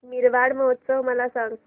मारवाड महोत्सव मला सांग